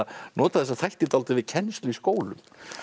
nota þessa þætti dálítið við kennslu í skólum